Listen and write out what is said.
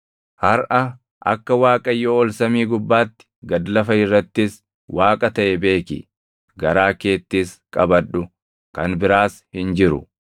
Harʼa akka Waaqayyo ol samii gubbaatti, gad lafa irrattis Waaqa taʼe beeki; garaa keettis qabadhu. Kan biraas hin jiru.